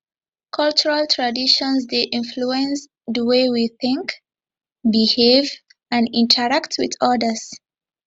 cultural traditions dey influence di way we think behave and interact with odas